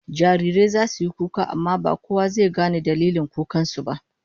Jarirai zasu yi kuka amma ba kowa zai gane dalilin kukan su ba